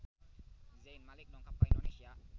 Zayn Malik dongkap ka Indonesia